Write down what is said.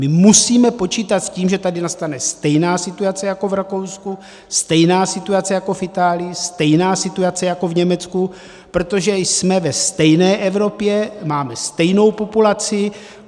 My musíme počítat s tím, že tady nastane stejná situace jako v Rakousku, stejná situace jako v Itálii, stejná situace jako v Německu, protože jsme ve stejné Evropě, máme stejnou populaci.